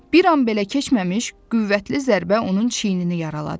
Bir an belə keçməmiş qüvvətli zərbə onun çiynini yaraladı.